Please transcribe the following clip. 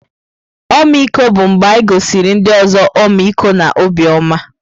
Ọmịiko bụ mgbe e gosiri ndị ọzọ ọmịiko na obiọma.